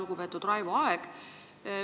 Lugupeetud Raivo Aeg!